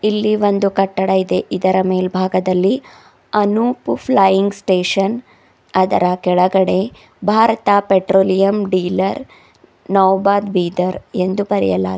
ಇಲ್ಲಿ ಒಂದು ಕಟ್ಟಡ ಇದೆ ಇದರ ಮೇಲ್ಭಾಗದಲ್ಲಿ ಅನುಪ್ ಫ್ಲೈಯಿಂಗ್ ಸ್ಟೇಷನ್ ಅದರ ಕೆಳಗಡೆ Bharat petroleum dealer Naubad Bidar ಎಂದು ಬರೆಯಲಾಗಿ--